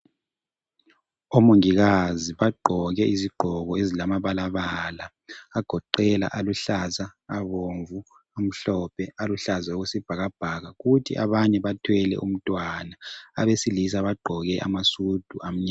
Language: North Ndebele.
Omongikazi bagqoke izigqoko ezilamabalabala agoqela aluhlaza, abomvu, amhlophe, aluhlaza okwesibhakabhaka. Kuthi abanye bathwele umntwana, abesilisa bagqoke amasudu amnyama.